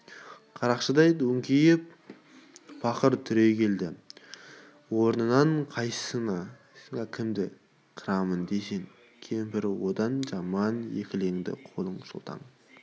қарақшыдай өңкиіп пақыр түрегелді орнынан қойсаңа кімді қырармын дейсің кемпірі одан жаман екіленді қолын шолтаң